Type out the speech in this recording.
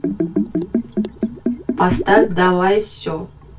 поставь давай все